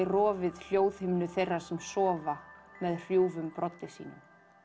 rofið hljóðhimnu þeirra sem sofa með hrjúfum broddi sínum